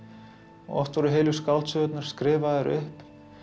oft voru heilu skáldsögurnar skrifaðar upp